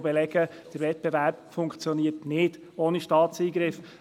Sie belegen, dass der Wettbewerb ohne Staatseingriff nicht funktioniert.